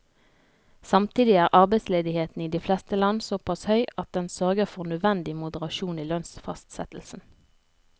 Samtidig er arbeidsledigheten i de fleste land såpass høy at den sørger for nødvendig moderasjon i lønnsfastsettelsen.